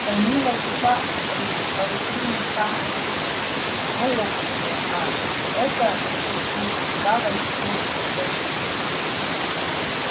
данила и фарид бойцы не самые сильные но опытные а это зачастую куда важнее грубой силы